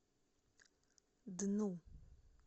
дну